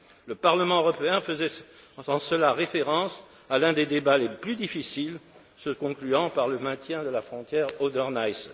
Le Parlement européen faisait en cela référence à l'un des débats les plus difficiles, se concluant par le maintien de la frontière Oder Neisse.